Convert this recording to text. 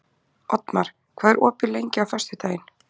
Oddmar, hvað er opið lengi á föstudaginn?